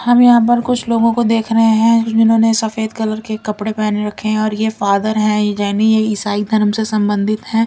हम यहां पर कुछ लोगों को देख रहे हैं जिन्होंने सफेद कलर के कपड़े पहन रखे हैं और ये फादर है जैनी ये ईसाई धर्म से संबंधित है।